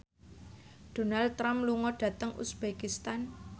Donald Trump lunga dhateng uzbekistan